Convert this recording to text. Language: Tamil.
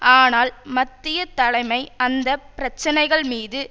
ஆனால் மத்திய தலைமை அந்த பிரச்சனைகள் மீது